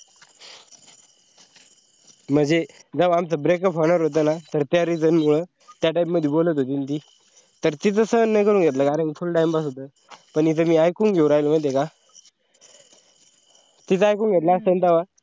मंजे जेवा आमचा breakup होणार होता न, तर त्या reason मूळ तर त्या type मध्ये बोलत होती न थी तर तिचा सहन नई करून घेतला कारण कि फुल्ल time pass होता, पण इच् मी ऐकून घेऊ राहिलो माहिताय का, तीच ऐकून घेतला असता ना तेव्हा,